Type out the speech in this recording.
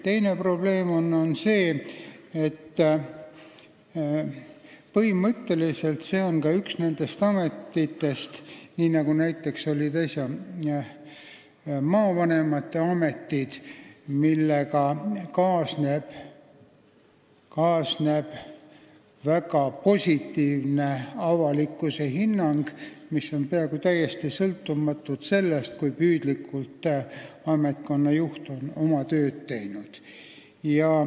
Teine probleem on see, et põhimõtteliselt see on üks niisugustest ametitest nagu näiteks äsja likvideeritud maavanema amet, millega on kaasnenud väga positiivne avalikkuse hinnang, mis peaaegu üldse pole sõltunud sellest, kui püüdlikult ametkonna juht on oma tööd teinud.